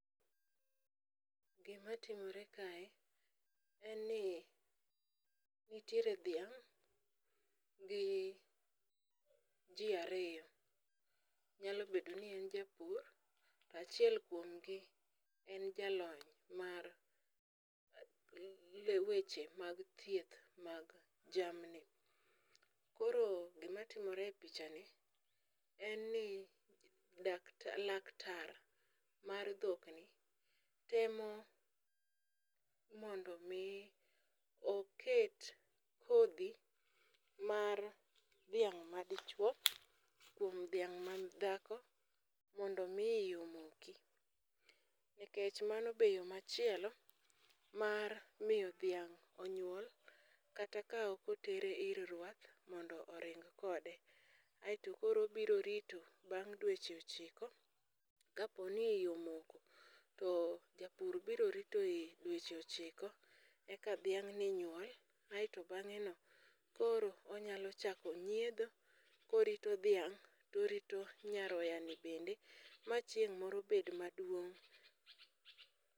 Gimatimore kae en ni nitiere dhiang' gi ji ariyo, nyalo bedo ni en japur, to achiel kuom gi en jalony, mar weche mag thieth mag jamni. Koro gimatimore e pichani en ni laktar mar dhokni temo mondo omi oket kodhi mar dhiang' madichuwo kuom dhiang' madhako mondo omi omoki nikech mano be yo machielo mar miyo dhiang' onyuol kata ka ok otere ir rwath mondo oring kode, aeto koro obiro rito bang' dweche ochiko, kaponi omoko, to japur biro rito e dweche ochiko eka dhiang'ni nyuol, aeto bang'eno koro onyalo chako nyiedho korito dhaing' torito nyaroyani bende ma chieng' moro bed maduong'.